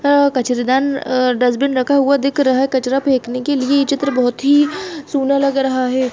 कचरा दान डस्ट्बिन रखा हुआ दिख रहा है कचरा फेकने के लिए ये चित्र बहुत ही सुंदर लग रहा है।